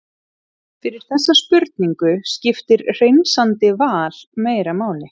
fyrir þessa spurningu skiptir hreinsandi val meira máli